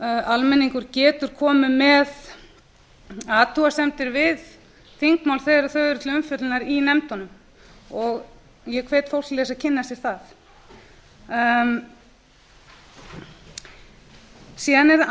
almenningur getur komið með athugasemdir við þingmál þegar þau eru til umfjöllunar í nefndunum og ég hvet fólk til þess að kynna sér það síðan er annað sem